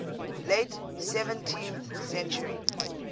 late seventeenth century